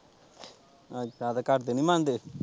ਅੱਛਾ ਤੇ ਘਰਦੇ ਨੀ ਮੰਨਦੇ।